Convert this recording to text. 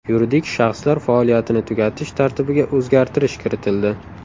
Yuridik shaxslar faoliyatini tugatish tartibiga o‘zgartish kiritildi.